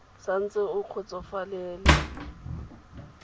sa ntse o sa kgotsofalele